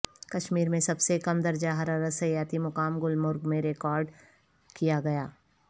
کشمیر میں سب سے کم درجہ حرارت سیاحتی مقام گلمرگ میں ریکارڈکیا گیا